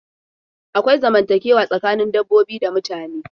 Akwai zamantakewa tsakanin dabbobi da mutane.